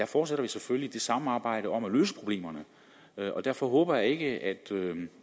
fortsætter vi selvfølgelig samarbejdet om at løse problemerne derfor håber jeg ikke at